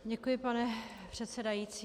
Děkuji, pane předsedající.